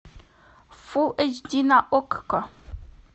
фул эйч ди на окко